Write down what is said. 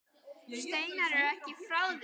Steinar er ekki frá því.